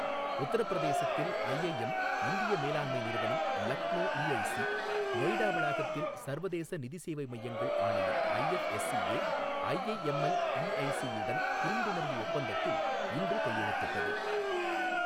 உத்தரப்பிரதேசத்தில் ஐஐஎம் இந்திய மேலாண்மை நிறுவனம் லக்னோ இஐசி, நொய்டா வளாகத்தில் சர்வதேச நிதி சேவை மையங்கள் ஆணையம் ஐஎஃப்எஸ்சிஏ, ஐஐஎம்எல் இஐசியுடன் புரிந்துணர்வு ஒப்பந்தத்தில் இன்று கையெழுத்திட்டது.